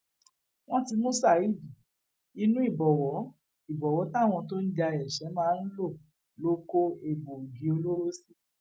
wọn ti mú saheed inú ìbọwọ ìbọwọ táwọn tó ń ja ẹṣẹ máa ń lò ló kó egbòogi olóró sí